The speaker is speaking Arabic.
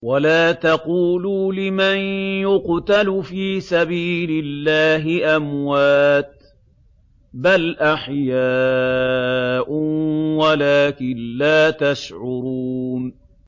وَلَا تَقُولُوا لِمَن يُقْتَلُ فِي سَبِيلِ اللَّهِ أَمْوَاتٌ ۚ بَلْ أَحْيَاءٌ وَلَٰكِن لَّا تَشْعُرُونَ